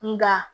Nga